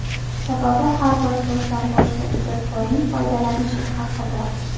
Sababi, har bir so‘zdan boshqa ijodkorning foydalanishga haqqi bor.